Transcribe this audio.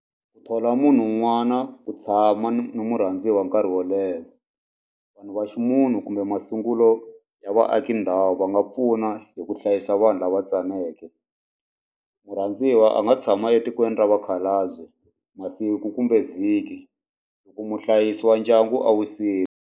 Ku thola munhu un'wana ku tshama ni murhandziwa nkarhi wo leha vanhu va ximunhu kumbe masungulo ya vaaki ndhawu va nga pfuna hi ku hlayisa vanhu lava tsaneke murhandziwa a nga tshama etikweni ra vakhalabye masiku kumbe vhiki loko muhlayisi wa ndyangu a wisile.